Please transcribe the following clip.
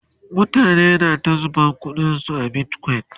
mutane na ta zuba ƙuɗin su a bitcoin